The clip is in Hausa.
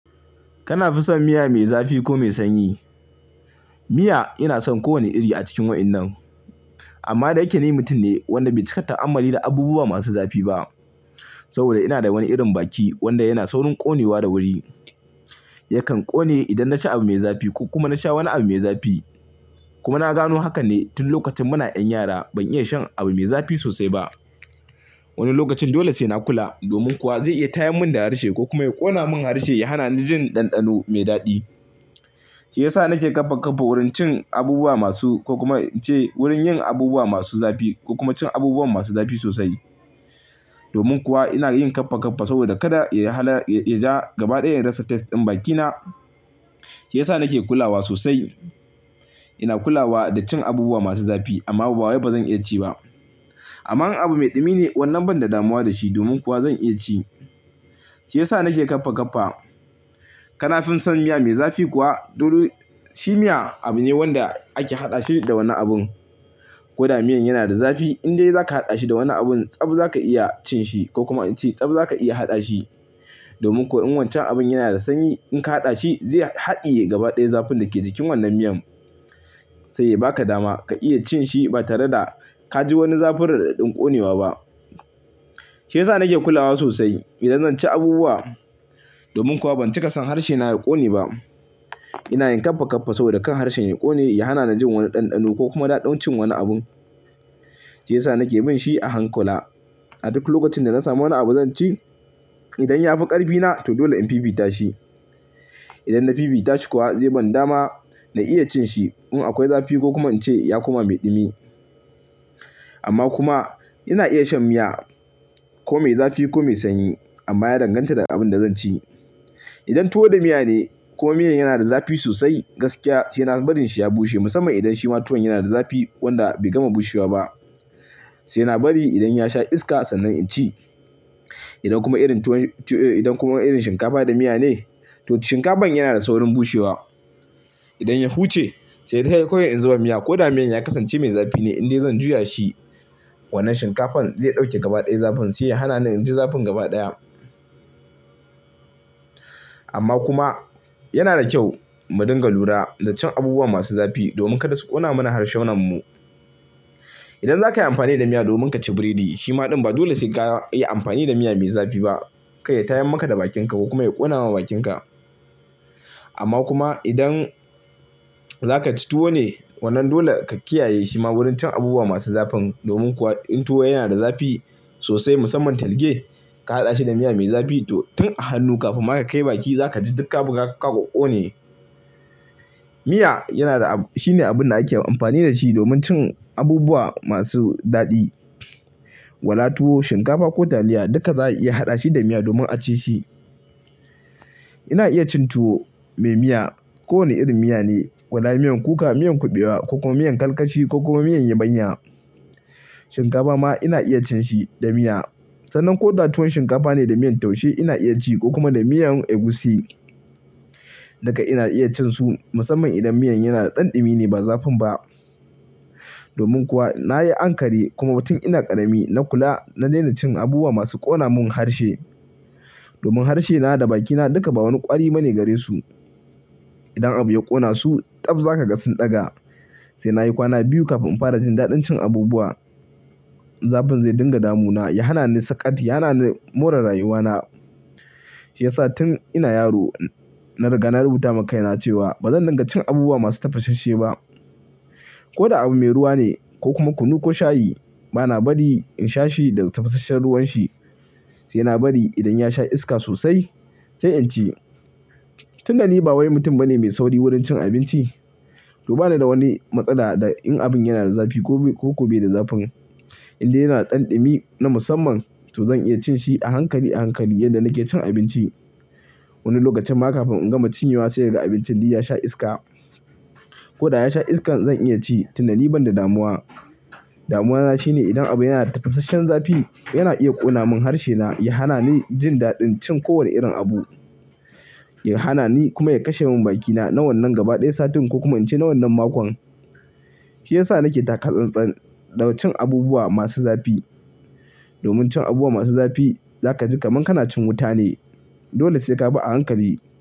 Kana fi son miya me zafi ko mai sanyi? Miya ina son kowane iri a cikin waɗannan. Amma da yeke ni mutum ne wanda bai cika ta'ammali da abubuwa masu zafi ba. Saboda ina da wani irin baki wanda yana saurin ƙonewa da wuri. Yakan ƙone idan naci abu mai zafi ko kuma nasha wani abu mai zafi. Kuma na gano haka ne tun lokacin muna 'yan yara ban iya shan abu mai zafi sosai ba. Wani lokacin dole sai na kula domin kuwa zai iya tayar mun da harshe ko kuma ya ƙona mun harshe, ya hana ni jin ɗanɗano mai daɗi. Shi ya sa nake ƙafa ƙafa wurin cin abubuwa masu ko kuma nce wurin yin abubuwa masu zafi ko kuma cin abubuwan masu zafi sosai. Domin kuwa ina yin ƙafa ƙafa saboda kada ya ja gaba ɗaya rasa taste din bakina. Shi ya sa nake kulawa sosai. Ina kulawa da cin abubuwa masu zafi amma ba wai bazan iya ci ba. Amma in abu mai ɗumi ne wannan ban da damuwa da shi domin kuwa zan iya ci. Shi ya sa nake ƙafa ƙafa. Kana fin son miya mai zafi kuwa? Dole shi miya abu ne wanda ake haɗa shi da wani abun. Ko da miyan yana da zafi, in dai zaka haɗa shi da wani abun, tsab zaka iya cin shi ko kuma nce tsab zaka iya haɗa shi. Domin ko in wancan abun yana da sanyi in ka haɗa shi zai haɗiye gaba ɗaya zafin dake jikin wannan miyan. Sai ba ka dama ka iya cin shi ba tare da ka ji wani zafin raɗaɗin ƙonewa ba. Shi ya sa nake kulawa sosai idan zan ci abubuwa. Domin kuwa ban cika son harshe na ya ƙone ba. Ina yin ƙafa ƙafa saboda kan harshen ya ƙone, ya hana ni jin wani ɗanɗano ko kuma daɗin cin wani abun. Shi ya sa nake bin shi a hankula. A duk lokacin da na samu wani abu zan ci, idan ya fi ƙarfi na to dole in bibita shi. Idan na bibita shi kuwa zai ban dama na iya cin shi. In akwai zafi ko kuma nce ya kuma mai ɗumi. Amma kuma ina iya shan miya ko mai zafi ko mai sanyi. Amma ya danganta da abin da zan ci. Idan tuwo da miya ne ko miyan yana da zafi sosai, gaskiya sai na bari shi ya bushe musamman idan shi ma tuwon yana da zafi wanda bai gama bushewa ba. Sai na bari idan ya sha iska sannan in ci. Idan kuma irin tuwon-- idan kuma irin shinkafa da miya ne, to shinkafan yana da saurin bushewa. Idan ya huce sai dai har koyaushe in zuba miya ko da miyan ya kasance mai zafi ne, in dai zan juya shi wannan shinkafan zai ɗauke gaba ɗaya zafin sai ya hana ni in ji zafin gaba ɗaya. Amma kuma yana da kyau mu dinga lura da cin abubuwa masu zafi domin kada su ƙona mana harsunanmu. Idan za ka yi amfani da miya domin ka ci burodi, shi ma ɗin ba dole sai ka yi amfani da miya mai zafi ba. Kai ya tayar maka da bakinka ko kuma ya ƙona ma bakinka. Amma kuma idan zaka ci tuwo ne wannan dole ka kiyaye shi ma wurin cin abubuwa masu zafin. Domin kuwa in tuwo yana da zafi sosai musamman talge, ka haɗa shi da miya mai zafi, to tun a hannu kafin ma aka kai baki za ka ji duka abubuwa suka ƙone. Miya yana da abu-- shine abun da ake amfani da shi domin cin abubuwa masu daɗi. Waɗa tuwo, shinkafa ko taliya duka za a iya haɗa shi da miya domin a ci shi. Ina iya cin tuwo mai miya. Kowane irin miya ne. Waɗa miyan kuka, miyan kuɓewa ko kuma miyan karkashi ko kuma miyan yabanya. Shinkafa ma ina iya cin shi da miya. Sannan ko da tuwon shinkafa ne da miyan taushe ina iya ci ko kuma da miyan egusi. Duka ina iya cin su musamman idan miyan yana da ɗan ɗumi ne ba zafin ba. Domin kuwa na yi ankari kuma tun ina ƙarami na kula na daina cin abubuwa masu ƙona mun harshe. Domin harshe na da bakina duka ba wani ƙwari bane gare su. Idan abu ya ƙona su, tsab za ka ga sun ɗaga. Sai na yi kwana biyu kafin in fara jin daɗin cin abubuwa. Zafin zai dinga damu na, ya hana ni sakati, ya hana ni more rayuwa na. Shi ya sa tun ina yaro na riga na rubuta ma kaina cewa bazan dinga cin abubuwa masu tafasasse ba. Ko da abu me ruwa ne ko kuma kunu ko shayi, bana bari in sha shi da tafasasshen ruwan shi. Sai na bari idan ya sha iska sosai sai in ci. Tun da ni ba wai mutum bane mai sauri wurin cin abinci. Duba da da wani matsala da in abun yana da zafi ko, ko gobe da zafin in dai yana da ɗan ɗumi na musamman to zan iya cin shi a hankali a hankali yanda nake cin abinci. Wani lokacin ma kafin in gama cinyewa sai ga abinci di ya sha iska. Ko da ya sha iskan zan iya ci. Tun da ni ban da damuwa. Damuwa na shine idan abu yana da tafasasshen zafi yana iya ƙona mun harshe na, ya hana ni jin daɗin cin kowane irin abu. Ya hana ni kuma ya kashe mun bakina na wannan gaba ɗaya satin ko kuma nce na wannan makon. Shi ya sa nake taka tsantsan da cin abubuwa masu zafi. Domin cin abubuwa masu zafi za ka ji kaman kana cin wuta ne. Dole sai ka bi a hankali.